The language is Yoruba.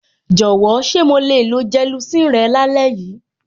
Jọ̀wọ́, ṣé mo le lo gelocin rẹ lálẹ́ yìí?